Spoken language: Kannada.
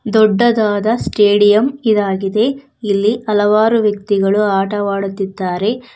ದೊಡ್ಡದಾದ ಸ್ಟೇಡಿಯಂ ಇದಾಗಿದೆ ಇಲ್ಲಿ ಹಲವಾರು ವ್ಯಕ್ತಿಗಳು ಆಟವಾಡುತ್ತಿದ್ದಾರೆ.